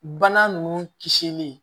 Bana nunnu kisili